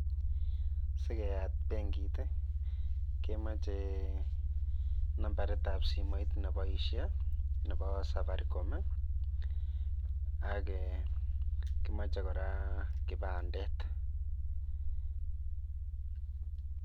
Si keyat benkit kemoche nambarit ab simoit ne boisie nebo safaricom ak kemoche kora kipandet.